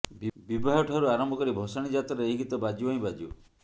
ବିବାହ ଠାରୁ ଆରମ୍ଭ କରି ଭଷାଣୀ ଯାତ୍ରାରେ ଏହି ଗୀତ ବାଜିବ ହିଁ ବାଜିବ